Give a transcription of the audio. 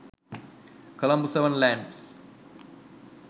colombo 7 lands